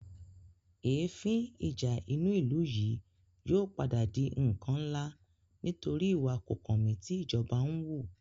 Èéfín ìjà inú ìlú yìí yóò padà di ǹkan ńlá nítorí ìwà kòkànmí tí ìjọba ń wù